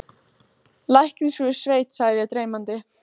Læknisfrú í sveit sagði ég dreymandi.